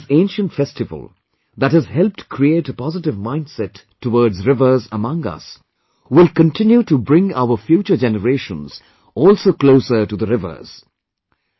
I hope that this ancient festival, that has helped create a positive mindset towards rivers among us, will continue to bring our future generations also closer to the rivers